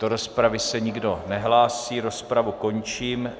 Do rozpravy se nikdo nehlásí, rozpravu končím.